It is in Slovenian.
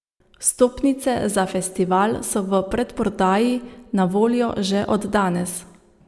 Vstopnice za festival so v predprodaji na voljo že od danes.